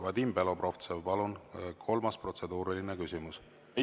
Vadim Belobrovtsev, palun, kolmas protseduuriline küsimus!